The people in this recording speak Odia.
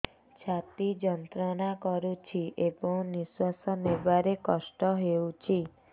ଛାତି ଯନ୍ତ୍ରଣା କରୁଛି ଏବଂ ନିଶ୍ୱାସ ନେବାରେ କଷ୍ଟ ହେଉଛି